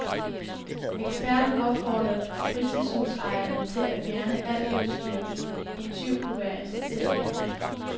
Eksperten opfordrer fritidshusejerne til at fjerne alt udstyr, en tyv kunne være interesseret i.